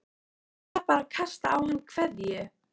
Hún var bara að kasta á hann kveðju.